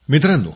मित्रांनो